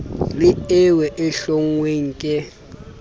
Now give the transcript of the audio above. le eo e hlonngweng ke